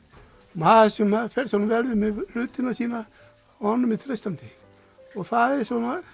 maður sem fer svona vel með hlutina sína honum er treystandi og það er